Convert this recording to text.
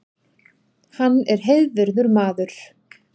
Hann er heiðvirður maður